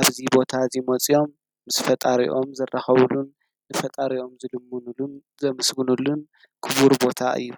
ኣብዙ ቦታ እዙይ ሞጺኦም ምስ ፈጣሪኦም ዘራኸቡሉን ፈጣርኦም ዘልምኑሉን ዘምስግኑሉን ክቡር ቦታ እዩ።